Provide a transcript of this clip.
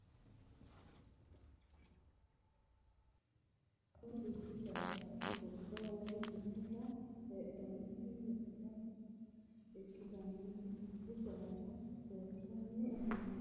Mininna dubbu saada tini saada leeltanni noonketi gobba galtannoti gobba woyi dubboho heedhannoti muxxe ikkitinoti dubbu saada leeltanni afantanno yaate